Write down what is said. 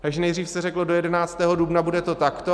Takže nejdřív se řeklo, do 11. dubna to bude takto.